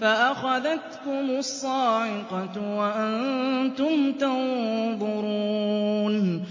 فَأَخَذَتْكُمُ الصَّاعِقَةُ وَأَنتُمْ تَنظُرُونَ